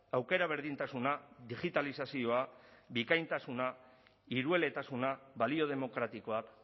aukera berdintasuna digitalizazioa bikaintasuna hirueletasuna balio demokratikoak